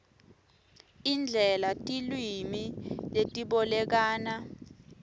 indlela tilwimi letibolekana